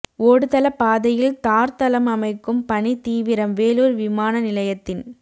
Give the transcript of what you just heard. ஓடுதள பாதையில் தார் தளம் அமைக்கும் பணி தீவிரம் வேலூர் விமான நிலையத்தின்